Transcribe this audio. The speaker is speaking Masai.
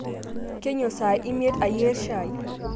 Keinyuo sai imet ayier shai